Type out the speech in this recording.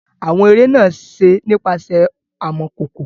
Awọn ere naa ṣe nipasẹ amọkoko.